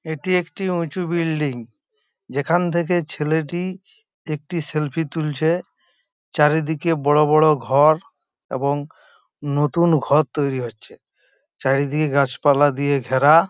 এটি একটি উচু বিল্ডিং । যেখান থেকে ছেলেটি একটি সেলফি তুলছে। চারিদিকে বড় বড় ঘর এবং নতুন ঘর তৈরি হচ্ছে। চারিদিকে গাছ পালা দিয়ে ঘেরা।